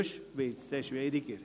Ansonsten wird es schwierig.